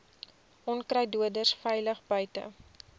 onkruiddoders veilig buite